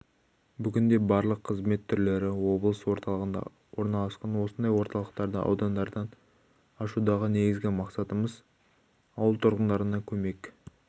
бүгінде барлық қызмет түрлері облыс орталығында орналасқан осындай орталықтарды аудандардан ашудағы негізгі мақсатымыз ауыл тұрғындарына көмек